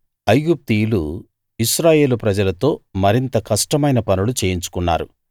ఐగుప్తీయులు ఇశ్రాయేలు ప్రజలతో మరింత కష్టమైన పనులు చేయించుకున్నారు